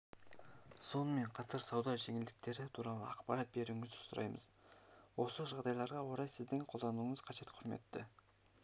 сонымен қатар сауда жеңілдіктері туралы ақпарат беруіңізді сұраймыз осы жағдайларға орай сіздің қолдауыңыз қажет құрметті